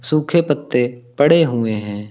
सूखे पत्ते पड़े हुए हैं।